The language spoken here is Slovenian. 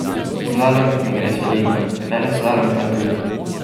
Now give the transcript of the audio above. Slalom mi gre solidno, veleslalom pa tudi.